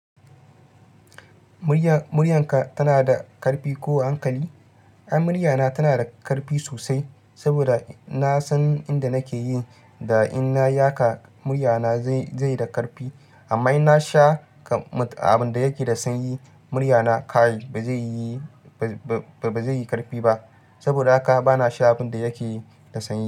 Muryan ka tana da karfi ko hankali? Ai muryana tana da karfi sosai saboda na san inda nake yi da inna yi haka muryana zaiyi da karfi. Amma in na sha abin da yake da sanyi muryana kaai ba zai yi karfi ba. Saboda haka bana sha abin da yake da sanyi.